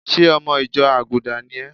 Ṣé ọmọ ìjọ àgùdà ni é?